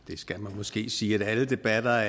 måske sige at alle debatter